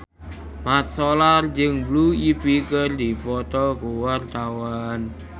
Mat Solar jeung Blue Ivy keur dipoto ku wartawan